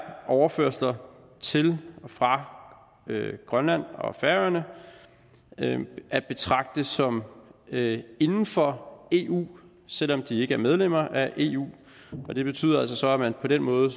overførsler til og fra grønland og færøerne at betragte som inden for eu selv om de ikke er medlemmer af eu og det betyder altså så at man på den måde